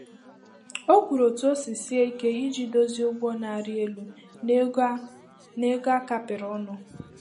O kwuru otú o si sie ike iji dozie ụgwọ na-arị elu na ego a na ego a kapịrị ọnụ.